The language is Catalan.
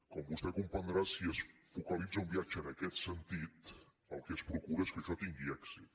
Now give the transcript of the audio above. com vostè comprendrà si es focalitza un viatge en aquest sentit el que es procura és que això tingui èxit